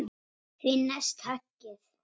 Því næst höggið.